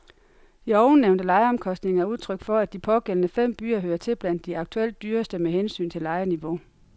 De ovennævnte lejeomkostninger er udtryk for, at de pågældende fem byer hører til blandt de aktuelt dyreste med hensyn til lejeniveau.